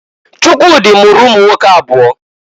Chukwudi mụrụ ụmụnwoke abụọ.